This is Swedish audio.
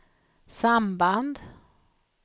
samband